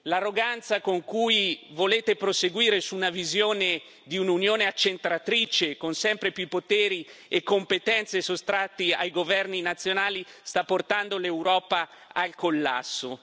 L'arroganza con cui volete proseguire su una visione di un'Unione accentratrice, con sempre più poteri e competenze sottratti ai governi nazionali, sta portando l'Europa al collasso.